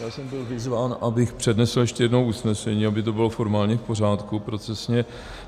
Já jsem byl vyzván, abych přednesl ještě jednou usnesení, aby to bylo formálně v pořádku, procesně.